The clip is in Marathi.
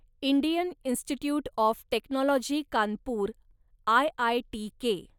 Indian Institute of Technology Kanpur, आयआयटीके